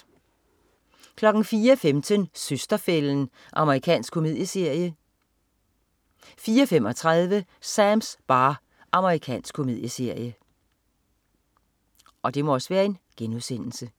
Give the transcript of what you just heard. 04.15 Søster-fælden. Amerikansk komedieserie 04.35 Sams bar. Amerikansk komedieserie